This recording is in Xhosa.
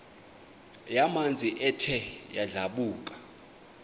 yamanzi ethe yadlabhuka